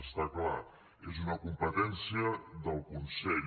està clar és una competència del consell